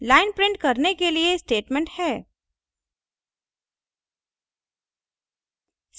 line print करने के लिए statement है